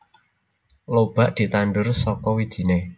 Lobak ditandur saka wijine